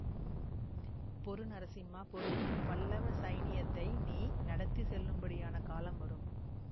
பொறு நரசிம்மா பொறு பல்லவ சைனியத்தை நீ நடத்தி செல்லும்படியான காலம் வரும்